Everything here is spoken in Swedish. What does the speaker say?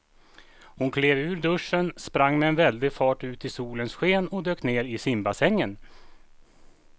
Hon klev ur duschen, sprang med väldig fart ut i solens sken och dök ner i simbassängen.